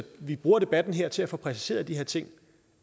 vi bruger debatten her til at få præciseret de her ting